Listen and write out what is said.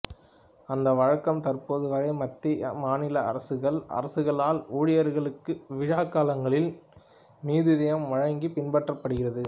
அந்த வழக்கம் தற்போது வரை மத்திய மாநில அரசுகள் அரசுகளால் ஊழியர்களுக்கு விழா காலங்களில் மீதுதியம் வழங்கி பின்பற்றப்படுகிறது